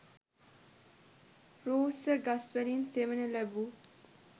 රූස්ස ගස්වලින් සෙවන ලැබූ